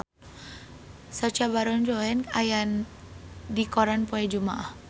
Sacha Baron Cohen aya dina koran poe Jumaah